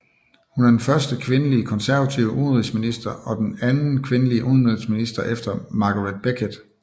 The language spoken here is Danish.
Hun er den første kvindelige konservative udenrigsminister og den anden kvindelige udenrigsminister efter Margaret Beckett